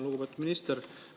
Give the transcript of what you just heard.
Lugupeetud minister!